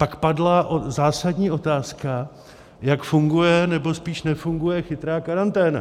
Pak padla zásadní otázka, jak funguje, nebo spíš nefunguje chytrá karanténa.